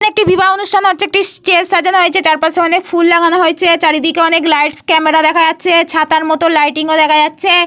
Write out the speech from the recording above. একটি বিবাহ অনুষ্ঠান হচ্ছে। একটি স্টেজ সাজানো হয়েছে। চারপাশে অনেক ফুল লাগানো হয়েছে। চারিদিকে অনেক লাইট ক্যামেরা দেখা যাচ্ছ। ছাতার মতো লাইটিং - ও দেখা যাচ্ছে।